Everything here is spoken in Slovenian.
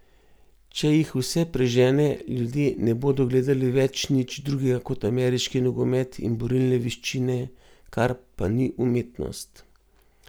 Če jih vse prežene, ljudje ne bodo gledali več nič drugega kot ameriški nogomet in borilne veščine, kar pa ni umetnost.